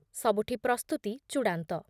ସବୁଠି ପ୍ରସ୍ତୁତି ଚୂଡ଼ାନ୍ତ ।